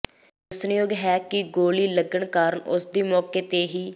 ਦੱਸਣਯੋਗ ਹੈ ਕਿ ਗੋਲੀ ਲੱਗਣ ਕਾਰਨ ਉਸਦੀ ਮੌਕੇ ਤੇ ਹੀ